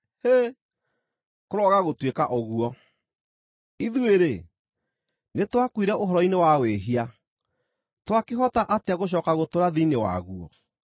Hĩ! Kũroaga gũtuĩka ũguo! Ithuĩ-rĩ, nĩtwakuire ũhoro-inĩ wa wĩhia; twakĩhota atĩa gũcooka gũtũũra thĩinĩ waguo?